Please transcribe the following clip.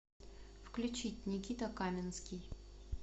включить никита каменский